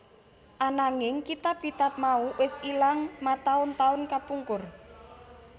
Ananging kitab kitab mau wis ilang mataun taun kapungkur